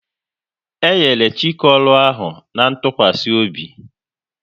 E nyere Chike ọrụ ahụ na ntụkwasị obi